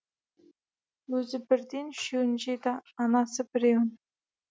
өзі бірден үшеуін жеді анасы біреуін